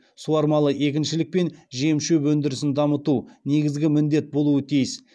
суармалы егіншілік пен жем шөп өндірісін дамыту негізгі міндет болуы тиіс